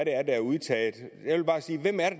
er der er udtaget